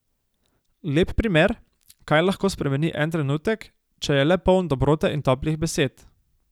Lep primer, kaj lahko spremeni en trenutek, če je le poln dobrote in toplih besed.